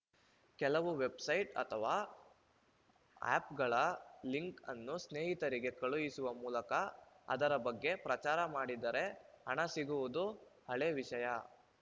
ಕೆಲವು ವೆಬ್‌ಸೈಟ್‌ ಅಥವಾ ಆ್ಯಪ್‌ಗಳ ಲಿಂಕ್‌ ಅನ್ನು ಸ್ನೇಹಿತರಿಗೆ ಕಳುಹಿಸುವ ಮೂಲಕ ಅದರ ಬಗ್ಗೆ ಪ್ರಚಾರ ಮಾಡಿದರೆ ಹಣ ಸಿಗುವುದು ಹಳೆ ವಿಷಯ